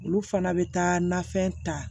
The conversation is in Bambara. Olu fana bɛ taa nafɛn ta